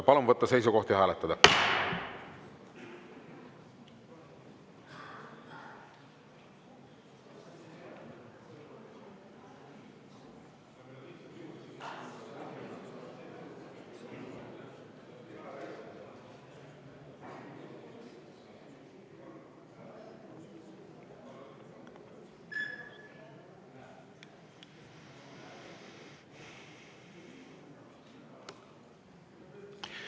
Palun võtta seisukoht ja hääletada!